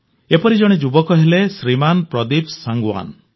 ଏପରି ଜଣେ ଯୁବକ ହେଲେ ଶ୍ରୀମାନ ପ୍ରଦୀପ ସାଂଗୱାନ